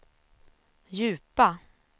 djupa